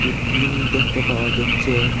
এ tin দেখতে পাওয়া যাচ্ছে।